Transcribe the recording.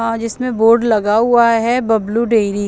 आज इसमें बोर्ड लगा हुआ हें बबलू डेरी --